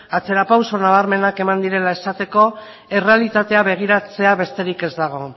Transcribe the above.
atzera pauso nabarmenak eman direla esateko errealitatea begiratzea besterik ez dago